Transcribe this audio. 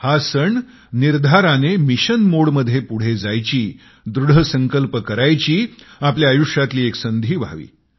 हा सण निर्धाराने मिशन मोडमध्ये पुढे जायची दृढ संकल्प करायची आपल्या आयुष्यातली एक संधी व्हावी